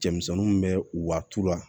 Cɛmisɛnninw bɛ wari tula